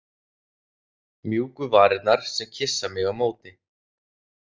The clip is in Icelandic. Mjúku varirnar, sem kyssa mig á móti.